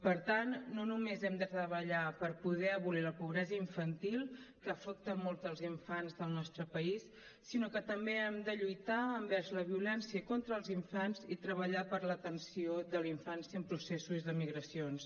per tant no només hem de treballar per poder abolir la pobresa infantil que afecta molts dels infants del nostre país sinó que també hem de lluitar envers la violència contra els infants i treballar per l’atenció de la infància en processos de migracions